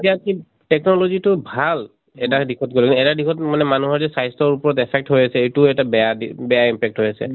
এতিয়া কিন technologyতো ভাল এটা দিশত গʼলে । এটা দিশত মানে মানুহৰ যে স্বাস্থ্য়ৰ ওপৰত affect হৈ আছে , এইটো এটা বেয়া অ বেয়া impact হৈ আছে